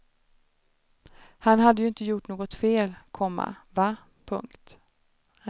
Han hade ju inte gjort något fel, komma va. punkt